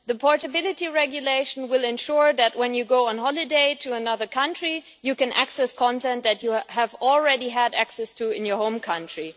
The Portability Regulation will ensure that, when you go on holiday to another country, you can access content that you have already had access to in your home country.